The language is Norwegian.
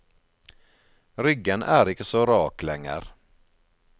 Ryggen er ikke så rak lenger.